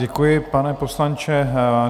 Děkuji, pane poslanče.